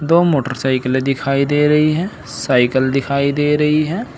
दो मोटरसाइकिलें दिखाई दे रही हैं साइकिल दिखाई दे रही है।